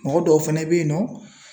Mɔgɔ dɔw fɛnɛ be yen nɔ